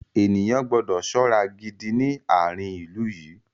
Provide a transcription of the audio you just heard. Ènìyàn gbọ́dọ̀ ṣọ́ra gidi ní àárín ilú yìí.